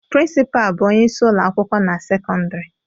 Prịnsịpaa bụ onyeisi ụlọakwụkwọ na sekọndịrị